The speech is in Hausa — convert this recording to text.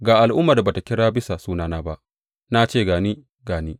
Ga al’ummar da ba tă kira bisa sunana ba, Na ce, Ga ni, ga ni.’